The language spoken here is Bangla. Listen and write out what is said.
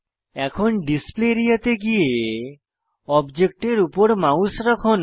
এখন ডিসপ্লে আরিয়া তে গিয়ে অবজেক্টের উপর মাউস রাখুন